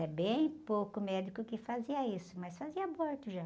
Era bem pouco médico que fazia isso, mas fazia aborto já.